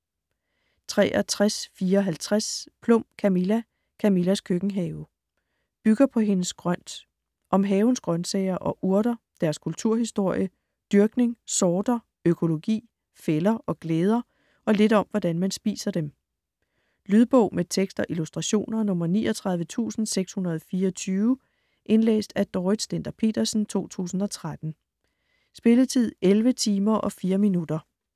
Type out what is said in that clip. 63.54 Plum, Camilla: Camillas køkkenhave Bygger på hendes Grønt. Om havens grønsager og urter, deres kulturhistorie, dyrkning, sorter, økologi, fælder og glæder og lidt om hvordan man spiser dem. Lydbog med tekst og illustrationer 39624 Indlæst af Dorrit Stender-Petersen, 2013. Spilletid: 11 timer, 4 minutter.